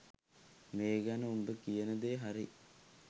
මේ ගැන උඹ කියන දේ හරි.